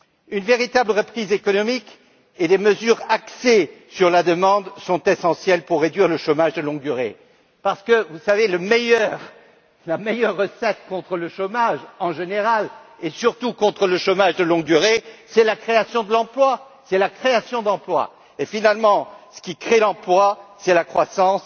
Une véritable reprise économique et des mesures axées sur la demande sont essentielles pour réduire le chômage de longue durée, parce que, vous savez, la meilleure recette contre le chômage en général et surtout contre le chômage de longue durée, c'est la création d'emplois et, finalement, ce qui permet de créer des emplois, c'est la croissance,